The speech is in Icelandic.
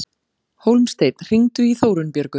Hólmsteinn, hringdu í Þórunnbjörgu.